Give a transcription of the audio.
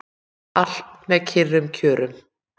Allt með kyrrum kjörum